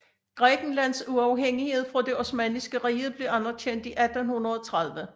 Grækenlands uafhængighed fra det Osmanniske Rige blev anerkendt i 1830